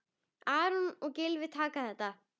Aron og Gylfi taka þetta.